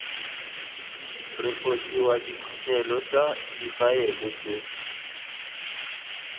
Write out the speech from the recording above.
refosiwa diphuthelo tsa difaele tse